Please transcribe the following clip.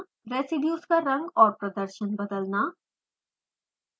residues का रंग और प्रदर्शन बदलना